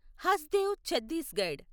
Hasdeo Chhattisgarh